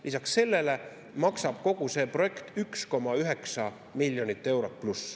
Lisaks sellele maksab kogu see projekt rohkem kui 1,9 miljonit eurot.